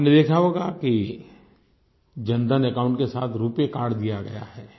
आपने देखा होगा कि जनधन अकाउंट के साथ रूपे कार्ड दिया गया है